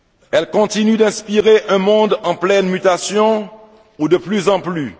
Elle continue d'inspirer un monde en pleine mutation où, de plus en plus,.